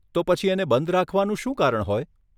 તો પછી એને બંધ રાખવાનું શું કારણ હોય?